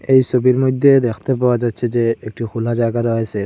এই ছবির মইদ্যে দেখতে পাওয়া যাচ্ছে যে একটু হুলা জায়গা রয়েসে ।